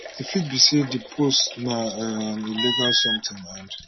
e fit be say di post na um illegal something and